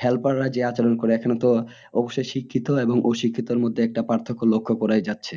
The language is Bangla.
Helper রা যে আচরন করে এখানে তো অবশ্যই শিক্ষিত এবং অশিক্ষিতর মধ্যে একটা পার্থক্য লক্ষ্য করাই যাচ্ছে